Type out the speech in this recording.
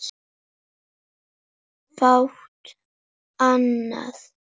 Fátt annað.